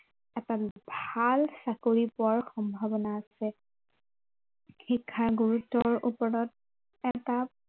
এটা ভাল চাকৰি পোৱাৰ সম্ভাৱনা আছে শিক্ষা গুৰুত্ৱৰ ওপৰত, এটা